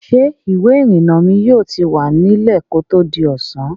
Ǹjẹ́ ìwé-ìrìnnà mi yóò ti wà nílẹ̀ kí ó tó di ọ̀sán?